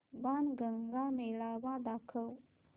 बाणगंगा मेळावा दाखव